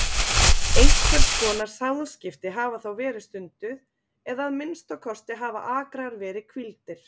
Einhvers konar sáðskipti hafa þá verið stunduð eða að minnsta kosti hafa akrar verið hvíldir.